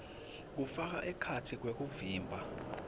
kufaka ekhatsi kwekuvimba